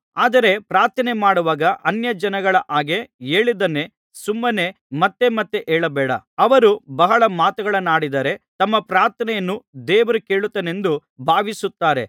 ಆದರೆ ಪ್ರಾರ್ಥನೆಮಾಡುವಾಗ ಅನ್ಯಜನಗಳ ಹಾಗೆ ಹೇಳಿದ್ದನ್ನೇ ಸುಮ್ಮನೆ ಮತ್ತೆ ಮತ್ತೆ ಹೇಳಬೇಡ ಅವರು ಬಹಳ ಮಾತುಗಳನ್ನಾಡಿದರೆ ತಮ್ಮ ಪ್ರಾರ್ಥನೆಯನ್ನು ದೇವರು ಕೇಳುತ್ತಾನೆಂದು ಭಾವಿಸುತ್ತಾರೆ